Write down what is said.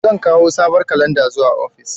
Zan kawo sabon kalanda zuwa ofis.